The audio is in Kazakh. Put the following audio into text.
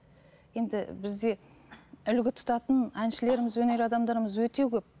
енді бізде үлгі тұтатын әншілеріміз өнер адамдарымыз өте көп